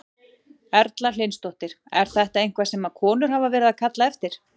Erla Hlynsdóttir: Er þetta eitthvað sem að konur hafa verið að kalla eftir?